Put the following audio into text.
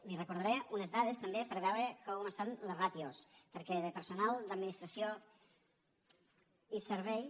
li recordaré unes dades també per a veure com estan les ràtios perquè de personal d’administració i serveis